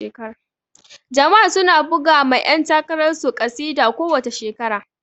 Jamb su na buga ma yan takarar su ƙasida ko wace shekara